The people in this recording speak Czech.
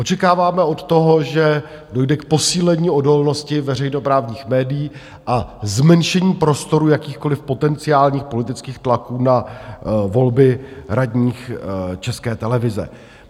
Očekáváme od toho, že dojde k posílení odolnosti veřejnoprávních médií a zmenšení prostoru jakýchkoliv potenciálních politických tlaků na volby radních České televize.